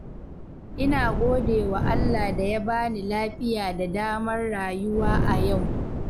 Ina godewa Allah da ya bani lafiya da damar rayuwa a yau.